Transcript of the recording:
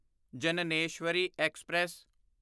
Jnaneswari express